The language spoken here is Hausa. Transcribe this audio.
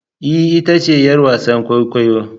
Ee! ita ce 'yar wasan kwaikwayo.